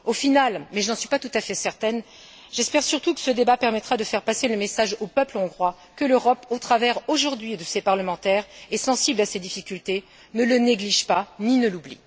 Au final, mais je ne suis pas tout à fait certaine qu'il en sera ainsi, j'espère surtout que ce débat permettra de faire passer le message au peuple hongrois que l'Europe, au travers, aujourd'hui, de ses parlementaires, est sensible à ses difficultés, ne le néglige pas ni ne l'oublie.